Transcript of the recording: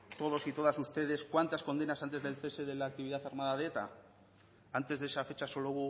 todos y todas ustedes cuántas condenas antes del cese de la actividad armada de eta antes de esa fecha solo